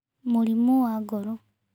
Mũrimũ wa ngoro.